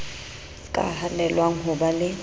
ka hanelwang ho ba le